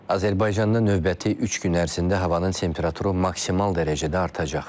Azərbaycanda növbəti üç gün ərzində havanın temperaturu maksimal dərəcədə artacaq.